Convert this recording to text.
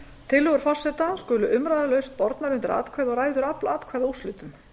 tillögur forseta skulu umræðulaust bornar undir atkvæði og ræður afl atkvæða úrslitum